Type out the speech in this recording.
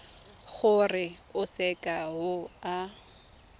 gore o seka w a